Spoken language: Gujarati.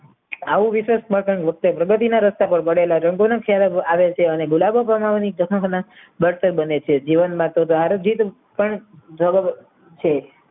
આવું વિશેષમાં કાંઈ વખતે પ્રગતિના રસ્તા પર પડેલા જંતુનક ચેહરા આવે છે અને ગુલાબો બનાવવાની પ્રથમપ્રથા બરતક બને છે જીવનમાં તો તો આરોગિત પણ છે